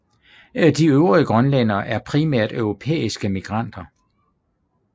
De øvrige grønlændere er primært europæiske migranter